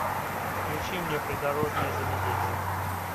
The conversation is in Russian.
включи мне придорожное заведение